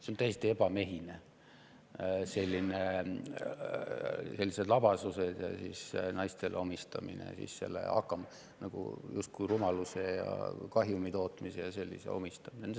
See on täiesti ebamehine, sellised labasused ja justkui rumaluse, kahjumi tootmise ja muu sellise omistamine naistele.